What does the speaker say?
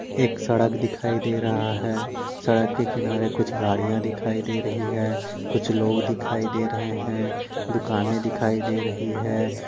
एक सड़क दिखाई दे रहा है सड़क के किनारे कुछ गाड़िया दिखाई दे रहा है कुछ लोग दिखाई दे रहे है दुकाने दिखाई दे रही है।